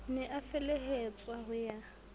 ne a felehetswa ho ya